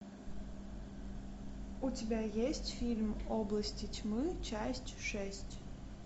у тебя есть фильм области тьмы часть шесть